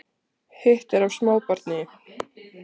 Hitt er af smábarni